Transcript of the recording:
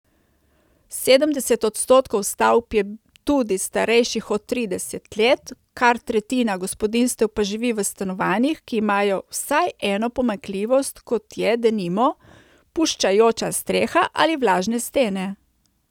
Sedemdeset odstotkov stavb je tudi starejših od trideset let, kar tretjina gospodinjstev pa živi v stanovanjih, ki imajo vsaj eno pomanjkljivost, kot je, denimo, puščajoča streha ali vlažne stene.